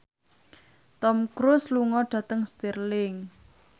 Tom Cruise lunga dhateng Stirling